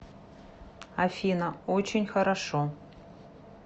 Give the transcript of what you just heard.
афина очень хорошо